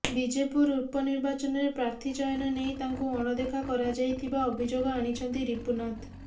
ବିଜେପୁର ଉପନିର୍ବାଚନରେ ପ୍ରାର୍ଥୀ ଚୟନ ନେଇ ତାଙ୍କୁ ଅଣଦେଖା କରାଯାଇଥିବା ଅଭିଯୋଗ ଆଣିଛନ୍ତି ରିପୁନାଥ